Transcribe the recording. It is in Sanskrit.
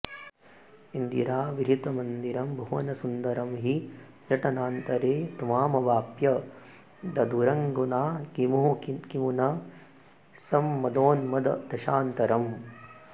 इन्दिराविहृतिमन्दिरं भुवनसुन्दरं हि नटनान्तरे त्वामवाप्य दधुरङ्गनाः किमु न सम्मदोन्मददशान्तरम्